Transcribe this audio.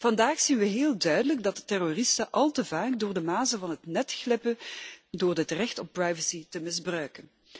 Vandaag zien we heel duidelijk dat terroristen al te vaak door de mazen van het net glippen door het recht op privacy te misbruiken.